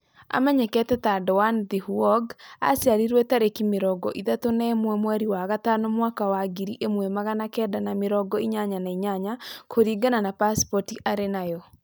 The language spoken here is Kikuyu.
Amenyekete ta Doan Thi Huong, aciarirwe tarĩki mĩrongo ithatũ na ĩmwe mweri wa gatano mwaka wa ngiri ĩmwe magana kenda ma mĩrongo inyanya na inyanya kũringana na pasipoti arĩ nayo